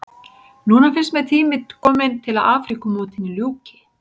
Núna finnst mér tími kominn til að Afríkumótinu ljúki.